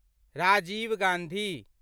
Rajiv Gandhi